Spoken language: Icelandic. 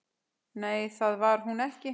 Nei, það var hún ekki.